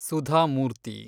Sudha Murthy